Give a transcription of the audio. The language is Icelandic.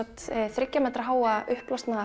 þriggja metra háa uppblásna